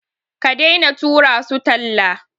Ka daina tura su talla.